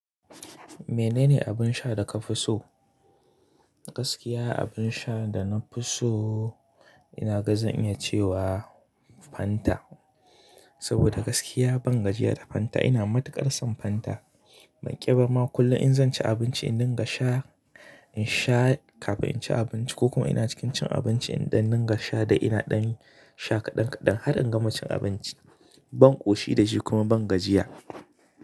Menene abin sha da ka fi so? Gaskiya abin sha da na fi so ina ga zan iya cewa Fanta. Saboda gaskiya ban gajiya da Fanta ina matuƙar son Fanta. Banƙi bama kullum in zan ci abinci in dinga sha, in sha kafin in ci abinci ko kuma ina cikin cin abinci in ɗan dinga sha dai ina ɗan sha kaɗan kaɗan har in gama cin abinci. Ban ƙoshi da shi kuma ban gajiya.